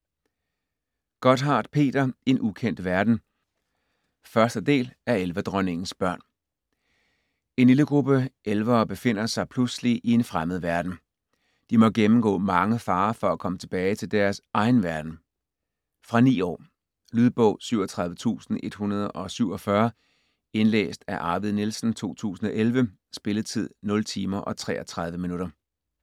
Gotthardt, Peter: En ukendt verden 1. del af Elverdronningens børn. En lille gruppe elevere befinder sig pludselig i en fremmed verden. De må gennemgå mange farer for at komme tilbage til deres egen verden. Fra 9 år. Lydbog 37147 Indlæst af Arvid Nielsen, 2011. Spilletid: 0 timer, 33 minutter.